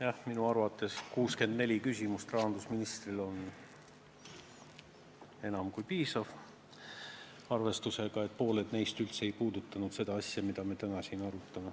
Jah, minu arvates on 64 küsimust rahandusministrile enam kui piisav, arvestades, et pooled neist ei puudutanud üldse seda asja, mida me siin täna arutame.